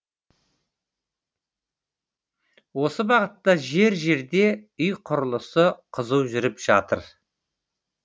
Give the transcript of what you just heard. осы бағытта жер жерде үй құрлысы қызу жүріп жатыр